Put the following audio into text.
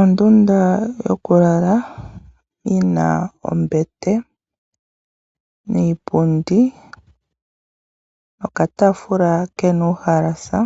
Ondunda yokulala yina ombete niipundi nokataafula kena uuhalasa,